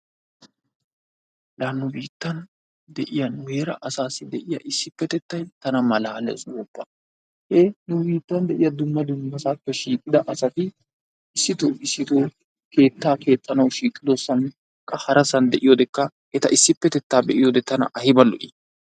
La nu biittan de'yaa nu heera asassi de'iyaa issippettettay taana maalalles gooppa e nu biittan de'iyaa dumma dummassappe shiiqidda asatti issitto issitto keettaa keexanawu shiiqidosankka harasani de'yodekka etta issippettetta be'iyodde tana ayibba lo'i.